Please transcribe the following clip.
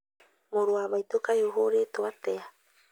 Mũrũ wa maitũ kaĩ ũhũrĩtwo atĩa